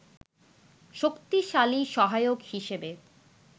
শক্তিশালী সহায়ক হিসেবে